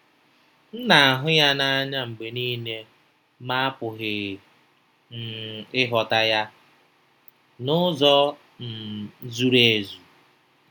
M na-ahụ ya n'anya mgbe nile ma apụghị um ịghọta ya n'ụzọ um zuru ezu.